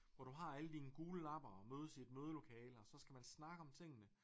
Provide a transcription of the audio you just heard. Hvor du har alle dine gule lapper og mødes i et mødelokale og så skal man snakke om tingene